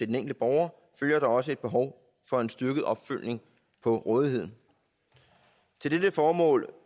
den enkelte borger følger der også et behov for en styrket opfølgning på rådigheden til dette formål